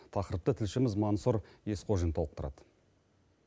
тақырыпты тілшіміз мансұр есхожин толықтырады